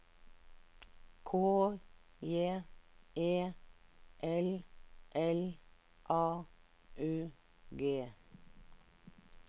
K J E L L A U G